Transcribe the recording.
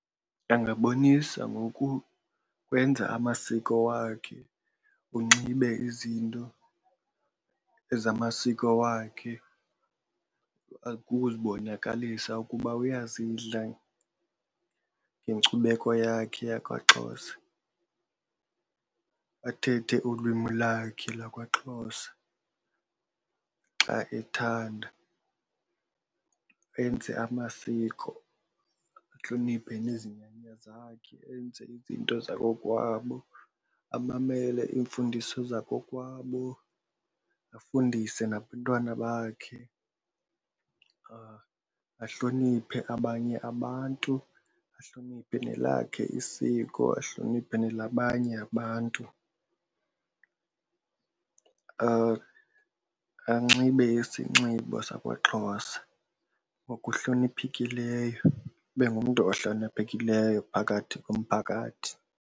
Angabonisa ngokukwenza amasiko wakhe unxibe izinto ezamasiko wakhe ukuzibonakalisa ukuba uyazidla ngenkcubeko yakhe yakwaXhosa, bathethe ulwimi lakhe lakwaXhosa xa ethanda. Enze amasiko ahloniphe nezinyanya zakhe enze izinto zakokwabo, amamele iimfundiso zakokwabo, afundise nabantwana bakhe. Ahloniphe abanye abantu, ahloniphe kwelakhe isiko ahloniphe nelabanye abantu. Anxibe isinxibo sakwaXhosa ngokuhloniphekileyo, ube ngumntu ohloniphekileyo phakathi komphakathi.